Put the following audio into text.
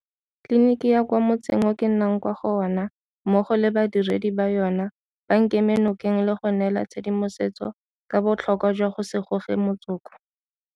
Tleliniki ya kwa mo tseng o ke nnang kwa go ona mmogo le badiredi ba yona ba nkeme nokeng le go nnela tshedimosetso ka botlhokwa jwa go se goge motsoko.